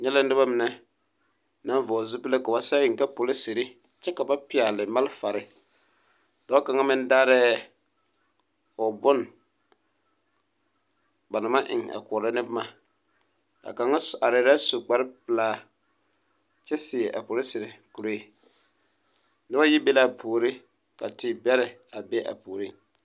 N nyɛ la noba mine ka ba vɔɡele zupili ka ba sɛɡe eŋ ka polisiri kyɛ ka ba pɛɡele malfare dɔɔ kaŋa meŋ daarɛɛ o bon ba na maŋ eŋ a koɔrɔ ne boma a kaŋa arɛɛ la su kparpelaa kyɛ seɛ a polisiri kuree noba yi be la a puori ka tebɛrɛ be a puoriŋ.